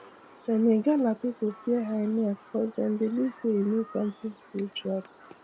dem igala people fear hyena cuz dem believe say e mean something spiritually